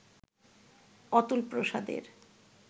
অতুল প্রসাদের